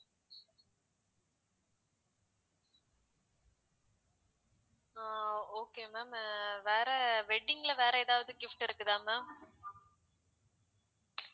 அஹ் okay ma'am வேற wedding ல வேற எதாவது gift இருக்குதா ma'am